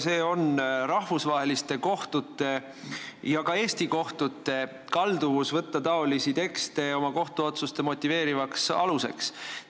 See on rahvusvaheliste kohtute ja ka Eesti kohtute kalduvus võtta taolisi tekste oma kohtuotsuste motiveerivaks aluseks.